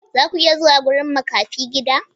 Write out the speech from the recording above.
Za ku iya zuwa wurin makafi gida?